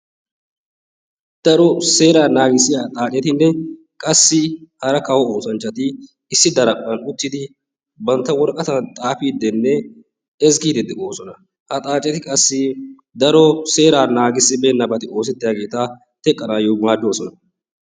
Daro seeraa naagisiya xaaccettinne qassi hara kawo oossanchchati issi daraphphan uttidi bantta woraqatan xaafiiddinne ezgiiddi de"oosona. Ha xaaceti qassi daro seera naagissibeennabati oosettiyaageeta teqqanaayo maaddoosona.